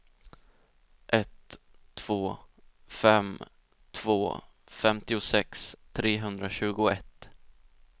ett två fem två femtiosex trehundratjugoett